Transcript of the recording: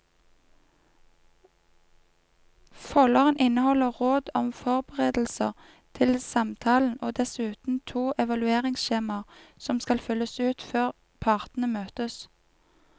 Folderen inneholder råd om forberedelser til samtalen og dessuten to evalueringsskjemaer som skal fylles ut før partene møtes.